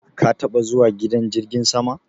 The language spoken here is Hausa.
Ka taba zuwa gidan jirgin sama?